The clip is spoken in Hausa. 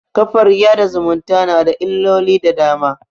kafar yaɗa zumunta na da illoli da dama